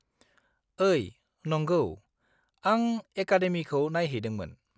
-ओइ! नंगौ, आं एकादेमिखौ नायहैदोंमोन।